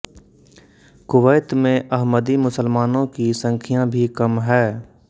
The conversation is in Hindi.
कुवैत में अहमदी मुसलमानों की संख्या भी कम है